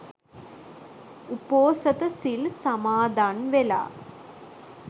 උපෝසථ සිල් සමාදන්වෙලා